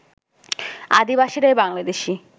আদিবাসীরাই Bangladeshi